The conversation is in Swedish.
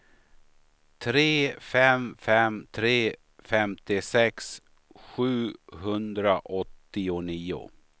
tre fem fem tre femtiosex sjuhundraåttionio